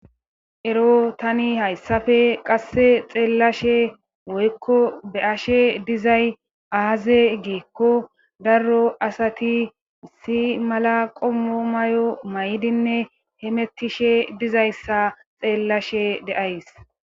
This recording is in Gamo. Ero tani hayssafe qasse xeellashe woykko be ashe dizay aaze geekko daro asati isi mala qommo may7o maydinne hemettishe dizayssa xeellashe deays.